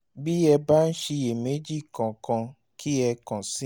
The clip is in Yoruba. bí ẹ bá ń ṣiyèméjì kankan kí ẹ kàn sí mi